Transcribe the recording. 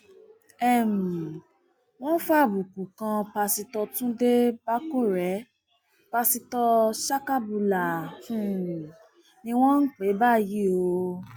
um wọn fàbùkù kan pásítọ túnde bàkórè pastor sakabula ni um wọn ń pè é báyìí o